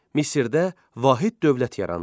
Misirdə vahid dövlət yarandı.